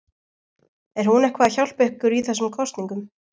Er hún eitthvað að hjálpa ykkur í þessum kosningum?